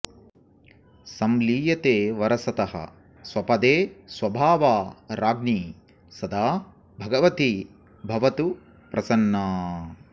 संलीयते वरसतः स्वपदे सभावा राज्ञी सदा भगवती भवतु प्रसन्ना